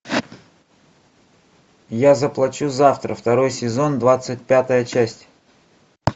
я заплачу завтра второй сезон двадцать пятая часть